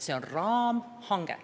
See on raamhange.